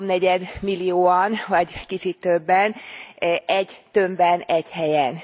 háromnegyed millióan vagy kicsit többen, egy tömbben, egy helyen.